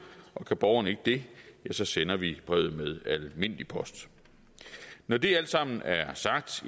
og kan borgeren ikke det ja så sender vi brevet med almindelig post når det alt sammen er sagt